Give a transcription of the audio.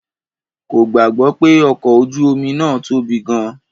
Kò gbàgbọ́ pé ọkọ̀ ojú omi náà tóbi gan-an.